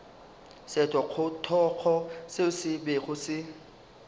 sethogothogo seo se bego se